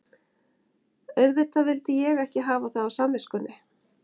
Auðvitað vildi ég ekki hafa það á samviskunni.